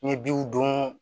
N ye biw don